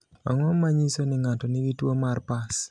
Ang’o ma nyiso ni ng’ato nigi tuwo mar pars?